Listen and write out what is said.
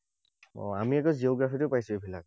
অ, আমি আকৌ geography তো পাইছো এইবিলাক।